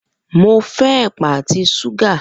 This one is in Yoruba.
Mo fẹ́ ẹ̀pà àti súgà